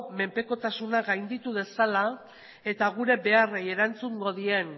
menpekotasuna gainditu dezala eta gure beharrei erantzungo dien